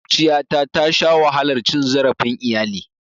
Maƙwabciyata tasha wahalar cin zarafin iyali.